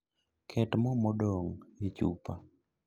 Ket moo modong' e chupa